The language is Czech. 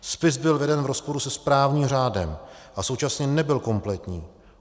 Spis byl veden v rozporu se správním řádem a současně nebyl kompletní.